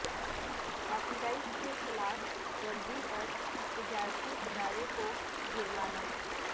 copy right کی خلاف ورزی پر تجارتی ادارے کو جرمانہ